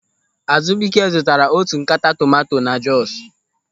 Azụbụike zụtara otu ńkata tomanto na Jọsu.